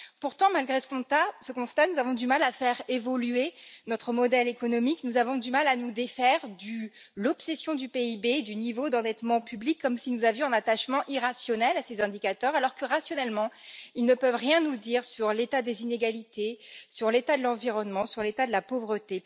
Pourtant, malgré ce constat, nous avons du mal à faire évoluer notre modèle économique, nous avons du mal à nous défaire de l'obsession du PIB ou du niveau d'endettement public, comme si nous avions un attachement irrationnel à ces indicateurs, alors que, rationnellement, ils ne peuvent rien nous dire sur l'état des inégalités, sur l'état de l'environnement ou sur l'état de la pauvreté.